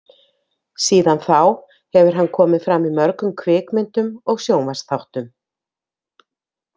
Síðan þá hefur hann komið fram í mörgum kvikmyndum og sjónvarpsþáttum.